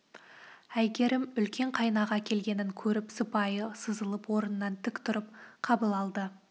әйгерім үлкен қайнаға келгенін көріп сыпайы сызылып орнынан тік тұрып қабыл алды